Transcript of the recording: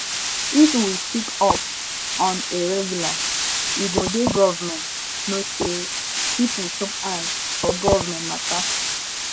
if we speak up on a regular e go di government know sey pipo chook eye for government matter